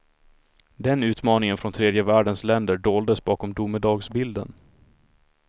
Den utmaningen från tredje världens länder doldes bakom domedagsbilden.